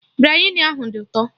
Biryani ahụ dị ụtọ